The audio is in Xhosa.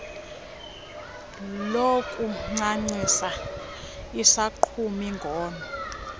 lokuncancisa isogqumi ngono